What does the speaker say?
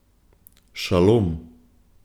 Šalom.